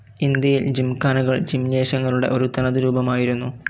ഇന്ത്യയിൽ ജിംഖാനകൾ ജിംനേഷ്യങ്ങളുടെ ഒരു തനതു രൂപമായിരുന്നു.